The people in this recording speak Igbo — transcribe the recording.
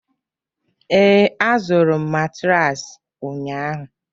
ee, azụrụ m matraasi ụnyahụ